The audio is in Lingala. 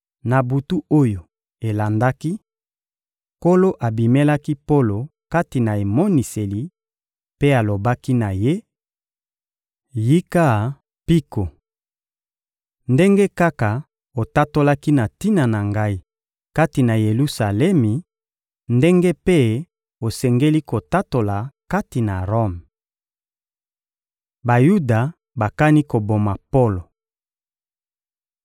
Na butu oyo elandaki, Nkolo abimelaki Polo kati na emoniseli mpe alobaki na ye: — Yika mpiko! Ndenge kaka otatolaki na tina na Ngai kati na Yelusalemi, ndenge mpe osengeli kotatola kati na Rome. Bayuda bakani koboma Polo